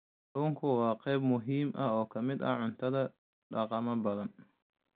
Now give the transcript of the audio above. Kalluunku waa qayb muhiim ah oo ka mid ah cuntada dhaqamo badan.